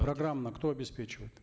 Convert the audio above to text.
программно кто обеспечивает